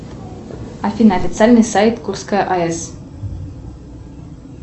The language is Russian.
афина официальный сайт курская аэс